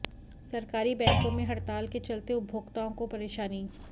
सरकारी बैंकों में हड़ताल के चलते उपभोक्ताओं को परेशानी